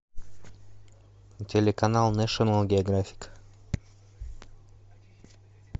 телеканал нэшнл географик